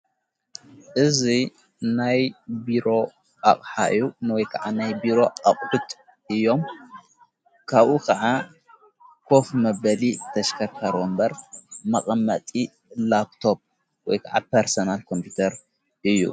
እዙይ ናይ ብሮ ኣቕሓዩ ንወይ ከዓ ናይ ብሮ ኣቕዂትጥ እዮም ካብኡ ኸዓ ኰፍ መበሊ ተሽከካረ እምበር መቐመጢ ላፕቶፕ ወይ ከዓ ፐርሰናል ኮምፒተር እዩ።